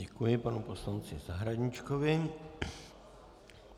Děkuji panu poslanci Zahradníčkovi.